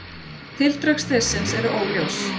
Tildrög slyssins eru óljós.